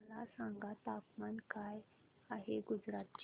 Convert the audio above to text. मला सांगा तापमान काय आहे गुजरात चे